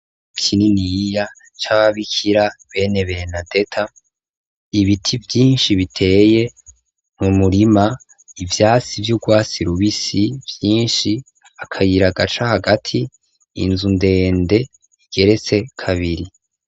Ikininiya c'ababikira bene berenadeta ,ibiti vyinshi biteye mumurima, ivyasi vy'ugwasi rubisi, vyinshi akayira gaca hagati, inzu ndende igeretse kabiri.